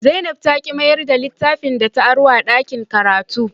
Zainab ta ki mayar da littafin da ta aro daga dakin karatu